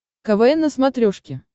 квн на смотрешке